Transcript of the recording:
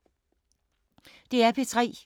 DR P3